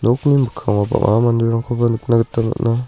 nokni mikkango bang·a manderangkoba nikna gita man·a.